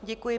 Děkuji.